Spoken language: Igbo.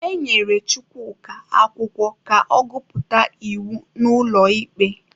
E nyere Chukwuka akwụkwọ ka ọ gụpụta iwu n'ụlọ ikpe.